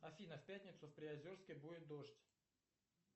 афина в пятницу в приозерске будет дождь